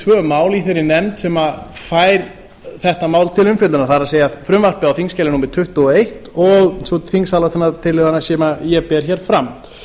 tvö mál í þeirri nefnd sem fær þetta mál til umfjöllunar það er frumvarpið á þingskj númer tuttugu og eins og sú þingsályktunartillaga sem ég ber hér fram